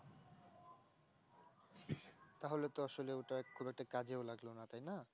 তাহলে তো আসলে ওটা খুব একটা কাজেও লাগলো না তাই না